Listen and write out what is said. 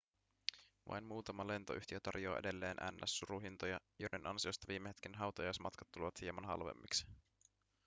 vain muutama lentoyhtiö tarjoaa edelleen ns suruhintoja joiden ansiosta viime hetken hautajaismatkat tulevat hieman halvemmiksi